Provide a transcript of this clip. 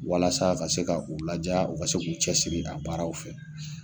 Walasa ka se ka u laja u ka se k'u cɛsiri a baaraw fɛ.